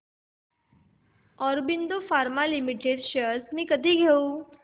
Aurobindo pharma limited shares मी कधी घेऊ